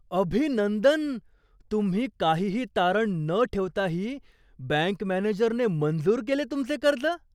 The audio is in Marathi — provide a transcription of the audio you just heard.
अभिनंदन! तुम्ही काहीही तारण न ठेवताही बँक मॅनेजरने मंजूर केले तुमचे कर्ज?